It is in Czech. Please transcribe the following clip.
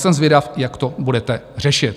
Jsem zvědav, jak to budete řešit.